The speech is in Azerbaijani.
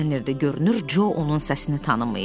Görünür, Co onun səsini tanımayıb.